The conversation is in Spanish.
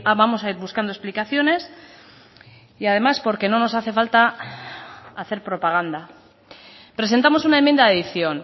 vamos a ir buscando explicaciones y además porque no nos hace falta hacer propaganda presentamos una enmienda de adición